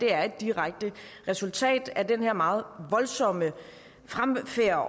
er en direkte resultat af den her meget voldsomme fremfærd